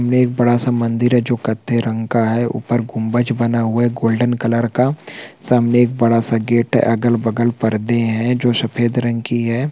--ने एक बड़ा-सा मंदिर है जो कत्थे रंग का है ऊपर गुम्बज बना हुआ है गोल्डन कलर का सामने एक बड़ा सा गेट है अगल-बगल पर्दे है जो सफेद रंग की है।